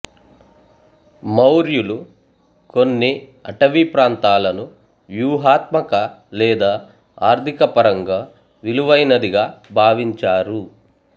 మౌర్యులు కొన్ని అటవీ ప్రాంతాలను వ్యూహాత్మక లేదా ఆర్థిక పరంగా విలువైనదిగా భావించారు